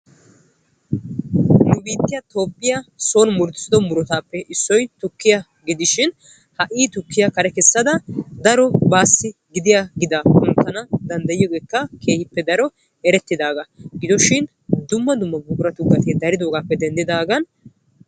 Nu biittiya toophiya son muruttissiddo muruttappe issoy tukiya gidoshin dumma dumma buqurattu gatee gujjidagappe denddagan tukekka ali'ees.